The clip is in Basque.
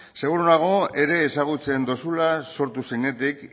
seguru nago ere ezagutzen duzula sortu zenetik